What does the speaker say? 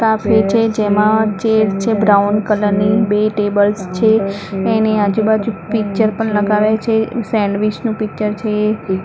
છે જેમા છે બ્રાઉન કલર ની બે ટેબલ્સ છે એની આજુ-બાજુ પિક્ચર પણ લગાવ્યા છે સેન્ડવીચ નુ પિક્ચર છે.